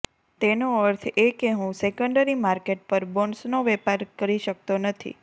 તેનો અર્થ એ કે હું સેકન્ડરી માર્કેટ પર બોન્ડ્સનો વેપાર કરી શકતો નથી